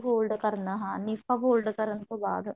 fold ਕਰਨਾ fold ਕਰਨ ਤੋਂ ਬਾਅਦ